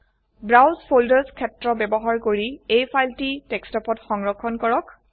browse folders ক্ষেত্ৰ ব্যবহাৰ কৰি এই ফাইলটি ডেস্কটপত সংৰক্ষণ কৰক